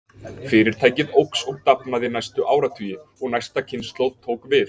Fyrirtækið óx og dafnaði næstu áratugi og næsta kynslóð tók við.